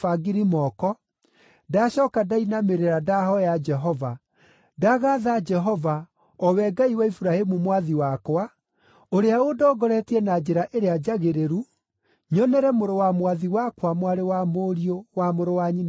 ndacooka ndainamĩrĩra ndahooya Jehova. Ndagatha Jehova, o we Ngai wa Iburahĩmu mwathi wakwa, ũrĩa ũndongoretie na njĩra ĩrĩa njagĩrĩru nyonere mũrũ wa mwathi wakwa mwarĩ wa mũriũ wa mũrũ wa nyina nake.